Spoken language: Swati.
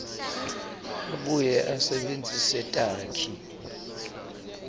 abuye asebentise takhi